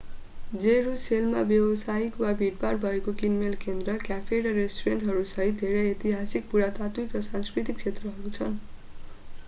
जेरूसेलममा व्यवसायिक र भीडभाड भएको किनमेल केन्द्र क्याफे र रेस्टुरेन्टहरूसहित धेरै ऐतिहासिक पुरातात्विक र सांस्कृतिक क्षेत्रहरू छन्